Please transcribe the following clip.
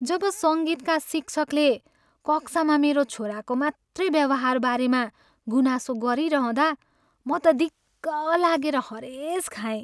जब सङ्गीतका शिक्षकले कक्षामा मेरो छोराको मात्रै व्यवहारबारेमा गुनासो गरिरहँदा म त दिक्क लागेर हरेश खाएँ।